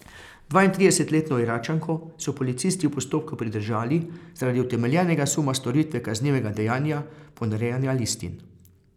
Dvaintridesetletno Iračanko so policisti v postopku pridržali zaradi utemeljenega suma storitve kaznivega dejanja ponarejanja listin.